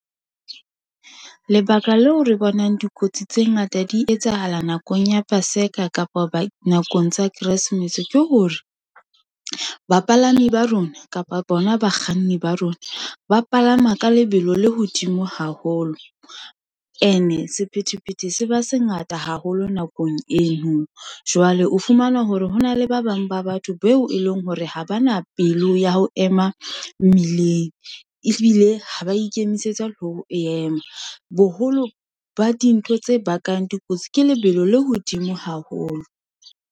Lebaka leo re bonang dikotsi tse ngata di etsahala nakong ya paseka kapa nakong tsa keresemese, ke hore, bapalami ba rona kapa bona bakganni ba rona, ba palama ka lebelo le hodimo haholo, ene sephethephethe se ba se ngata haholo nakong eno. Jwale o fumana hore hona le ba bang ba batho, beo e leng hore ha ba na pelo ya ho ema mmileng, ehlile ha ba ikemisetsa ho yema, boholo ba dintho tse bakang dikotsi. Ke lebelo le hodimo haholo.